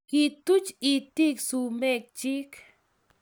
kituch itik sumekchich